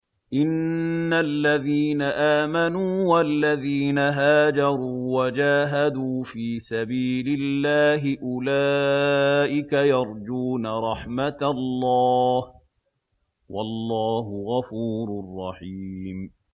إِنَّ الَّذِينَ آمَنُوا وَالَّذِينَ هَاجَرُوا وَجَاهَدُوا فِي سَبِيلِ اللَّهِ أُولَٰئِكَ يَرْجُونَ رَحْمَتَ اللَّهِ ۚ وَاللَّهُ غَفُورٌ رَّحِيمٌ